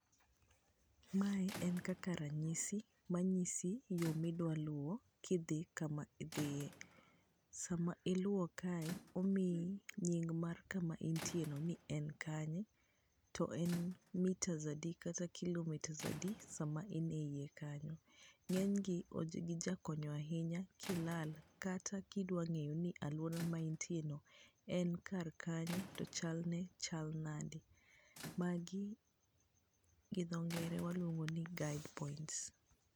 Mae en kaka ranyisi manyisi yo midwa luwo kidhi kama idhiye. Sama iluwo kae, omiyi nying mar kama intieno ni en kanye, to en metres adi kata kilometres adi sama in e iye kanyo. Ng'enygi gijakonyo ahinya kilal kata kidwa ng'eyo ni alwora ma intieni en kar kanye to chalne chal nade. Magi gi dhongere waluongo ni guide points.